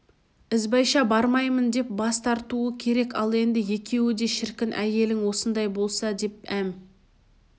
ізбайша бармаймын деп бас тартуы керек ал енді екеуі де шіркін әйелің осындай болса деп әм